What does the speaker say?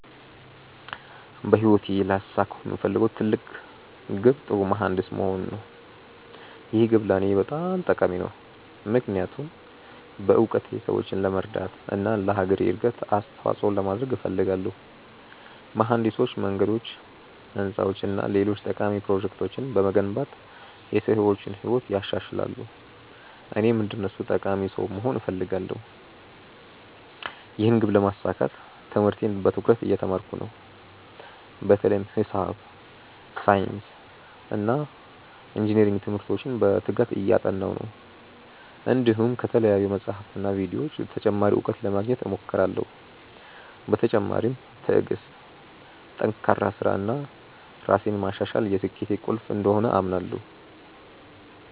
በህይወቴ ላሳካው የምፈልገው ትልቅ ግብ ጥሩ መሀንዲስ መሆን ነው። ይህ ግብ ለእኔ በጣም ጠቃሚ ነው፣ ምክንያቱም በእውቀቴ ሰዎችን ለመርዳት እና ለአገሬ እድገት አስተዋፅኦ ለማድረግ እፈልጋለሁ። መሀንዲሶች መንገዶች፣ ህንፃዎች እና ሌሎች ጠቃሚ ፕሮጀክቶችን በመገንባት የሰዎችን ህይወት ያሻሽላሉ፣ እኔም እንደነሱ ጠቃሚ ሰው መሆን እፈልጋለሁ። ይህን ግብ ለማሳካት ትምህርቴን በትኩረት እየተማርኩ ነው፣ በተለይም ሂሳብ፣ ሳይንስ እና ኢንጅነሪንግ ትምህርቶችን በትጋት እያጠናሁ ነው። እንዲሁም ከተለያዩ መጻሕፍትና ቪዲዮዎች ተጨማሪ እውቀት ለማግኘት እሞክራለሁ። በተጨማሪም ትዕግሥት፣ ጠንካራ ሥራ እና ራሴን ማሻሻል የስኬቴ ቁልፍ እንደሆኑ አምናለሁ።